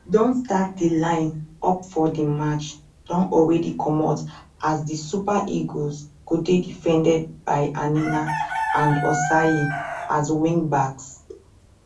don start di line up for di match don alreadi comot as di super eagles go dey defended by aina and osayi as wingbacks